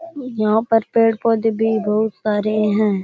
यहाँ पर पेड़ पौधे भी बहुत सारे है।